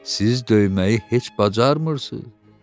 Siz döyməyi heç bacarmırsız.